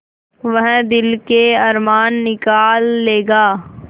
वह दिल के अरमान निकाल लेगा